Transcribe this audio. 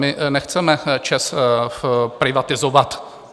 My nechceme ČEZ privatizovat.